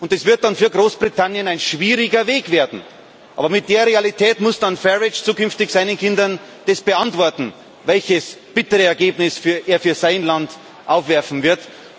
Es wird dann für Großbritannien ein schwieriger Weg werden, aber in der Realität muss Farage zukünftig seinen Kindern beantworten, welches bittere Ergebnis er für sein Land aufwerfen wird.